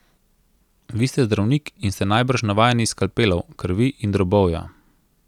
Vi ste zdravnik in ste najbrž navajeni skalpelov, krvi in drobovja.